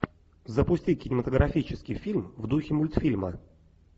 запусти кинематографический фильм в духе мультфильма